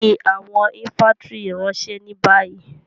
Fi àwọn infàntiri ranṣẹ ni bayi!